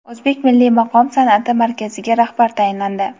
O‘zbek milliy maqom san’ati markaziga rahbar tayinlandi.